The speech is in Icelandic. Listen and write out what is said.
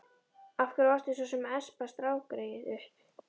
Af hverju varstu svo sem að espa strákgreyið upp?